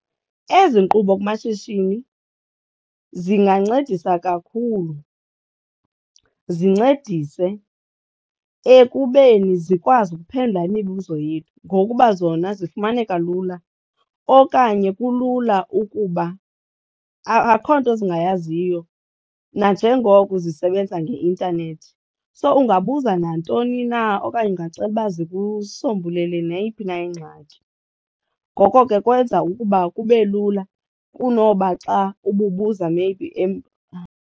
Ezi nkqubo kumashishini zingancedisa kakhulu, zincedise ekubeni zikwazi ukuphendula imibuzo yethu ngokuba zona zifumaneka lula okanye kulula ukuba akho nto zingayaziyo nanjengoko zisebenza ngeintanethi. So ungabuza nantoni na okanye ungacela uba zikusombulele neyiphi na ingxaki. Ngoko ke kwenza ukuba kube lula kunoba xa ububuza maybe .